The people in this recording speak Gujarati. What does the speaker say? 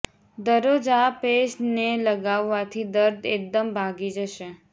દરરોજ આ પેસ્ટ ને લગાવવાથી દર્દ એકદમ ભાગી જશે